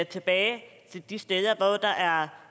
tilbage til de steder hvor der er